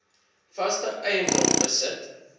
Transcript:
vaste eiendom besit